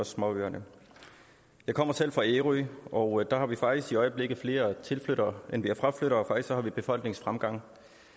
småøerne jeg kommer selv fra ærø og der har vi faktisk i øjeblikket flere tilflyttere end vi har fraflyttere faktisk har vi befolkningsfremgang